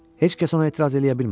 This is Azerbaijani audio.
Heç kəs ona etiraz eləyə bilmədi.